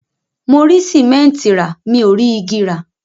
Mo rí sìmẹ́ńtì rà, mi ò rí igi rà.